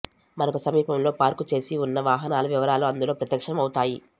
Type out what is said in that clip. మనకు సమీపంలో పార్కు చేసి ఉన్న వాహనాల వివరాలు అందులో ప్రత్యక్షం అవుతాయి